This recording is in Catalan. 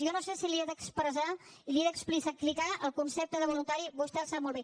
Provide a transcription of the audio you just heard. jo no sé si li he d’expressar i li he d’explicar el concepte de voluntari vostè el sap molt bé